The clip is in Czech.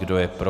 Kdo je pro?